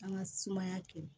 An ka sumaya to